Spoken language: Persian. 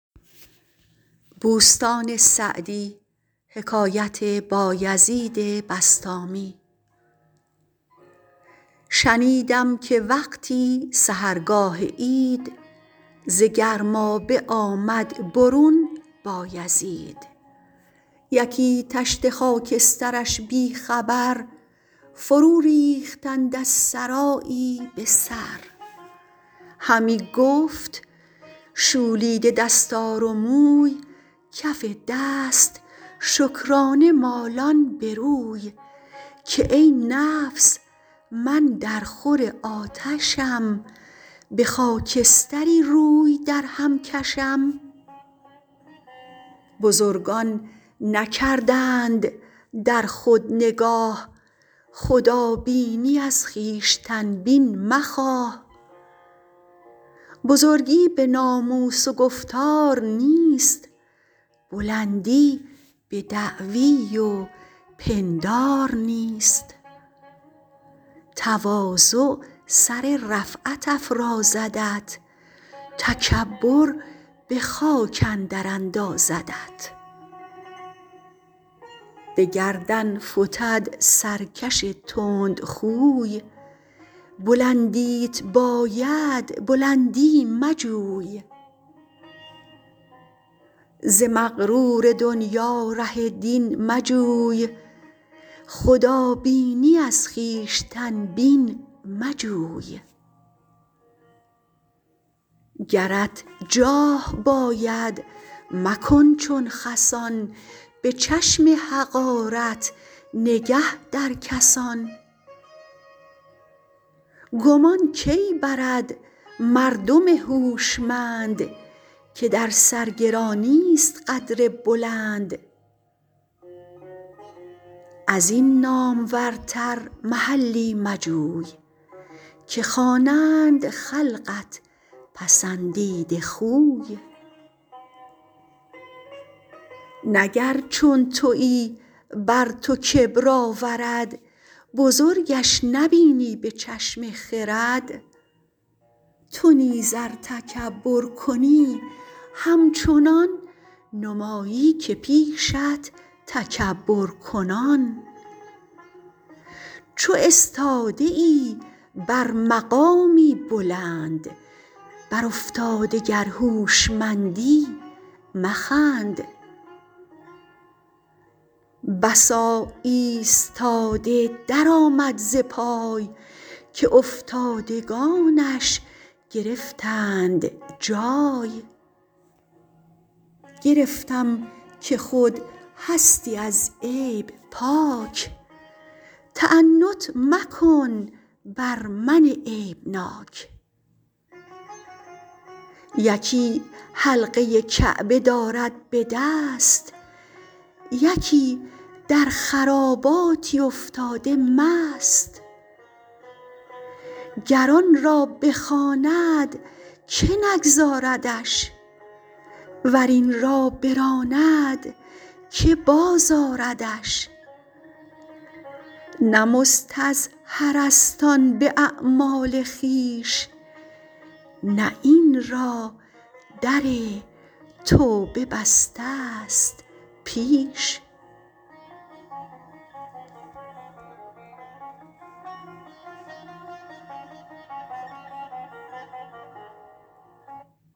شنیدم که وقتی سحرگاه عید ز گرمابه آمد برون بایزید یکی تشت خاکسترش بی خبر فرو ریختند از سرایی به سر همی گفت شولیده دستار و موی کف دست شکرانه مالان به روی که ای نفس من در خور آتشم به خاکستری روی در هم کشم بزرگان نکردند در خود نگاه خدابینی از خویشتن بین مخواه بزرگی به ناموس و گفتار نیست بلندی به دعوی و پندار نیست تواضع سر رفعت افرازدت تکبر به خاک اندر اندازدت به گردن فتد سرکش تند خوی بلندیت باید بلندی مجوی ز مغرور دنیا ره دین مجوی خدابینی از خویشتن بین مجوی گرت جاه باید مکن چون خسان به چشم حقارت نگه در کسان گمان کی برد مردم هوشمند که در سرگرانی است قدر بلند از این نامورتر محلی مجوی که خوانند خلقت پسندیده خوی نه گر چون تویی بر تو کبر آورد بزرگش نبینی به چشم خرد تو نیز ار تکبر کنی همچنان نمایی که پیشت تکبر کنان چو استاده ای بر مقامی بلند بر افتاده گر هوشمندی مخند بسا ایستاده در آمد ز پای که افتادگانش گرفتند جای گرفتم که خود هستی از عیب پاک تعنت مکن بر من عیب ناک یکی حلقه کعبه دارد به دست یکی در خراباتی افتاده مست گر آن را بخواند که نگذاردش ور این را براند که باز آردش نه مستظهر است آن به اعمال خویش نه این را در توبه بسته ست پیش